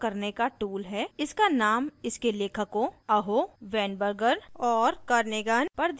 इसका named इसके लेखकों aho weinberger और kernighan पर दिया गया है